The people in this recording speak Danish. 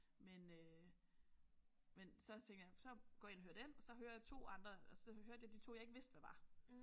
Men øh men så tænkte jeg så går ind og hører den og så hører jeg 2 andre og så hørte jeg de 2 jeg ikke vidste hvad var